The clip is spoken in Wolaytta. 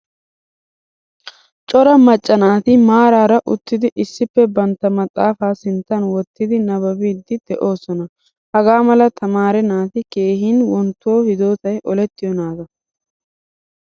Cora macca naati maraara uttidi issippe bantta maxaafaa sinttan wottidi nabbabidi deosona. Hagaamla tamaare naati keehin wonttuwawu hidotay oletiyo naataa.